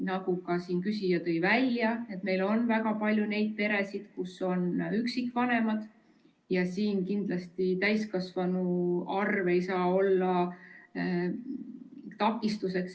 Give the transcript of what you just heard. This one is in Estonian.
Nagu ka küsija tõi välja, siis meil on väga palju neid peresid, kus on üksikvanemad, ja siin kindlasti täiskasvanute arv ei saa olla takistuseks.